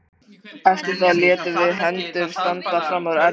Eftir það létum við hendur standa fram úr ermum.